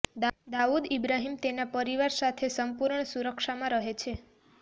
દાઉદ ઈબ્રાહીમ તેના પરિવાર સાથે સંપૂર્ણ સુરક્ષામાં રહે છે